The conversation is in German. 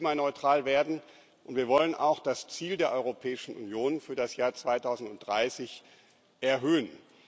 Wir wollen klimaneutral werden, und wir wollen auch das Ziel der Europäischen Union für das Jahr 2030 erhöhen.